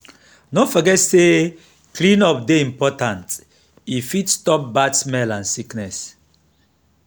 no forget say clean-up dey important; e fit stop bad smell and sickness.